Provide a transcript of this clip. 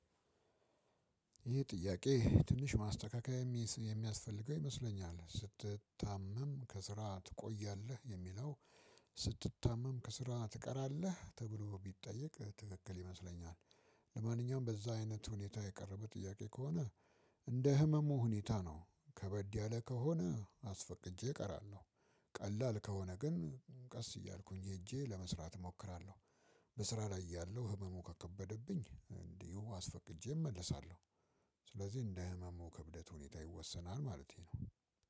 ይህ ጥያቄ ትንሽ ማስተካከል የሚያስፈልገው ይመስለኛል ስትታመም ከስራ ትቆያለህ የሚለው ስትታመም ከስራ ትቀራለህ ተብሎ ቢጠየቅ ትክክል ይመስለኛል። ለማንኛውም በዛ አይነት ሁኔታ የቀረበ ጥያቄ ከሆነ። እንደ ህመሙ ሁኔታ ነው ከበድ ያለ ከሆነ አስፈቅጄ እቀራለሁ። ቀላል ከሆነ ግን ቀስ እያልኩኝ ሄጄ ለመስራት እሞክራለሁ። በስራ ላይ እያለሁ ህመሙ ከከበደብኝ እንዲሁ አስፈቅጄ እመለሳለሁ። ስለዚህ እንደ ህመሙ ክብደት ሁኔታ ይወሰናል ማለቴ ነው።